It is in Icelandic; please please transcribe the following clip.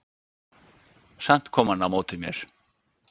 Samt kom hann á móti mér.